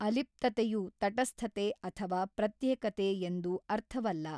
ಅಲಿಪ್ತತೆಯು ತಟಸ್ಥತೆ ಅಥವಾ ಪ್ರತ್ಯೇಕತೆ ಎಂದು ಅರ್ಥವಲ್ಲ.